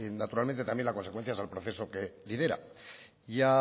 naturalmente también la consecuencia es el proceso que lidera